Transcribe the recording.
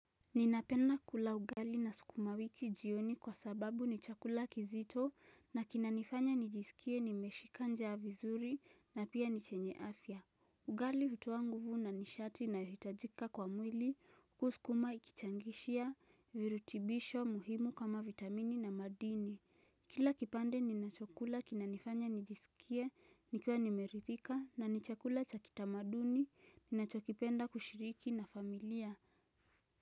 Ninapenda kula ugali na sukuma wiki jioni kwa sababu ni chakula kizito na kinanifanya nijisikie nimeshika njaa vizuri na pia ni chenye afya Ugali hutoa nguvu na nishati inayohitajika kwa mwili huku sukuma ikichangishia virutibisho muhimu kama vitamini na madini Kila kipande ninachokula kinanifanya nijisikie nikiwa nimeridhika na ni chakula cha kitamaduni ninachokipenda kushiriki na familia.